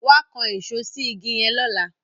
wá kán Èṣó sí ìgi yen lọla